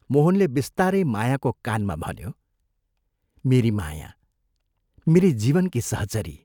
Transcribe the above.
मोहनले बिस्तारै मायाको कानमा भन्यो, " मेरी माया मेरी जीवनकी सहचरी!